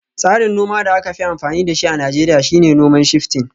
Tsarin noma da aka fi amfani da shi a Najeriya shine noman Shifting